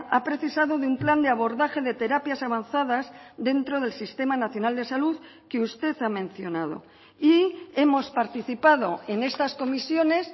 ha precisado de un plan de abordaje de terapias avanzadas dentro del sistema nacional de salud que usted ha mencionado y hemos participado en estas comisiones